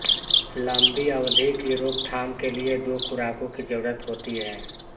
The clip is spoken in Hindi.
लंबी अवधि की रोकथाम के लिए दो खुराकों की जरूरत होती है